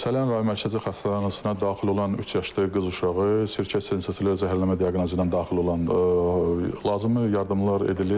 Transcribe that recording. Səlyan Rayon Mərkəzi Xəstəxanasına daxil olan üç yaşlı qız uşağı sirkə turşusu ilə zəhərlənmə diaqnozu ilə daxil olan lazımi yardımlar edilib.